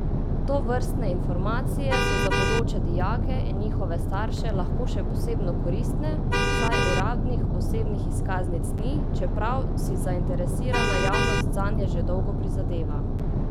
Tovrstne informacije so za bodoče dijake in njihove starše lahko še posebno koristne, saj uradnih osebnih izkaznic ni, čeprav si zainteresirana javnost zanje že dolgo prizadeva.